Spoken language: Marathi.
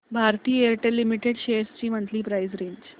भारती एअरटेल लिमिटेड शेअर्स ची मंथली प्राइस रेंज